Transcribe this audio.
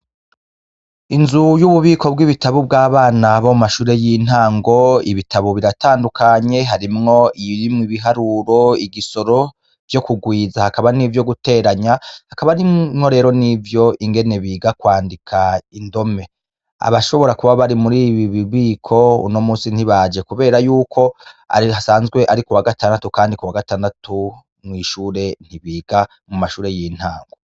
Inzu y'ububiko bw'ibitabu bw'abana bo mashure y'intango ibitabu biratandukanye harimwo irimwe ibiharuro igisoro vyo kugwiza hakaba n'ivyo guteranya hakaba arimwo rero n'ivyo ingene biga kwandika indome abashobora kuba bari muri bi bibiko uno musi ntibaje, kubera yuko arirasanzwe ari ku wa gatandatu, kandi ku wa gatandatu mw'ishure ntibiga mu mashure y'intango.